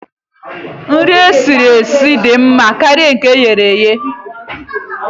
Nri e siri esi dị mma karịa nke eghere eghe